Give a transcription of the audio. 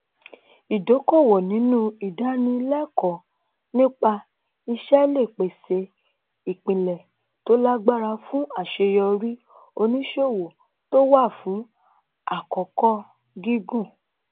ìdókòwò nínú ìdánilékòó nípa iṣé lè pèsè ìpìlè tó lágbára fún àṣeyọrí oníṣòwò tó wà fún àkókò gígùn